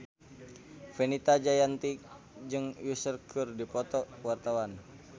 Fenita Jayanti jeung Usher keur dipoto ku wartawan